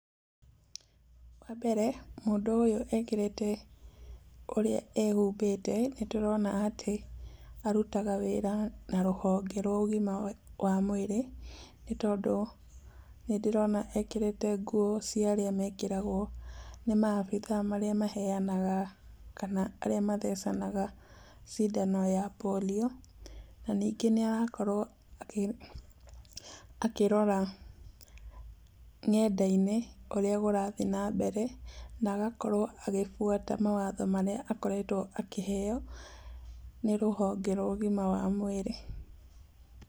Wa mbere mũndũ ũyũ ekĩrĩte, ũrĩa ehumbĩte nĩtũrona atĩ arutaga wĩra na rũhonge rwa ũgima wa mwĩrĩ, nĩ tondũ nĩndĩrona ekĩrĩte nguo cia arĩa mekĩraga ũũ nĩ maabitha arĩa maheanaga, kana arĩa mathecanaga cindano ya polio. Na ningĩ nĩ arakorwo akĩrora ng'enda-inĩ ũrĩa kũrathiĩ nambere na agakorwo akĩbuata mawatho marĩa akoretwo akĩheo nĩ rũhonge rwa ũgima wa mwĩrĩ.